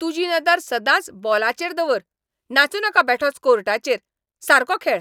तुजी नदर सदांच बॉलाचेर दवर! नाचूं नाका बेठोच कोर्टाचेर. सारको खेळ.